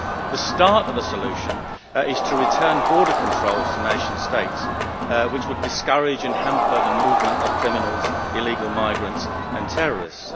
The start of a solution is to return border controls to nation states, which would discourage and hamper the movement of criminals, illegal migrants and terrorists.